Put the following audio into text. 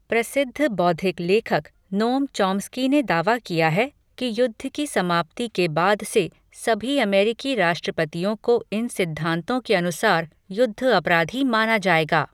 प्रसिद्ध बौद्धिक लेखक, नोम चॉम्स्की ने दावा किया है कि युद्ध की समाप्ति के बाद से सभी अमेरिकी राष्ट्रपतियों को इन सिद्धांतों के अनुसार युद्ध अपराधी माना जाएगा।